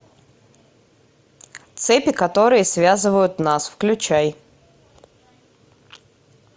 цепи которые связывают нас включай